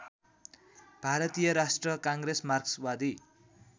भारतीय राष्ट्रिय काङ्ग्रेस मार्क्सवादी